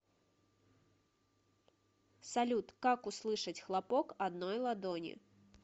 салют как услышать хлопок одной ладони